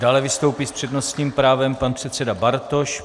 Dále vystoupí s přednostním právem pan předseda Bartoš.